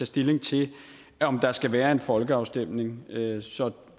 stilling til om der skal være en folkeafstemning så